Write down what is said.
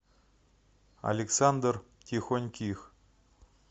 александр тихоньких